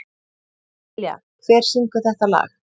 Dilja, hver syngur þetta lag?